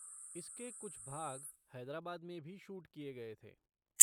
इसके कुछ भाग हैदराबाद में भी शूट किए गए थे।